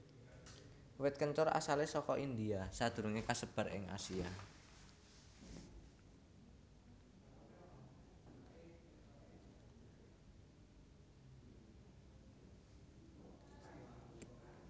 Wit kencur asalé saka India sadurungé kasebar ing Asia